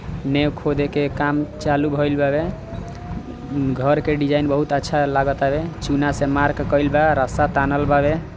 नेहा कोड़े के काम चालू भइले बा घर के डिजाइन बहुत अच्छा लागल चुनाव से मार्ग कायल बा रस्सा तानल बा।